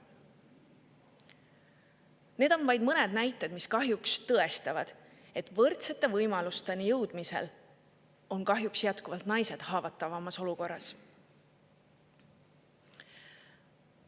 Need on vaid mõned näited, mis tõestavad, et võrdsete võimalusteni jõudmisel on kahjuks jätkuvalt naised haavatavamas olukorras.